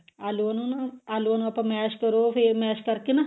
ਅਲੂਆਂ ਨੂੰ ਨਾ ਅਲੂਆਂ ਨੂੰ ਆਪਾਂ mash ਕਰੋ ਫਿਰ mash ਕਰਕੇ ਨਾ